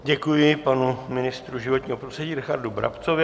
Děkuji panu ministrovi životního prostředí Richardu Brabcovi.